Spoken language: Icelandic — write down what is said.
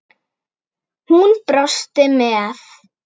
Hún brosti með